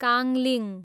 काङ्लिङ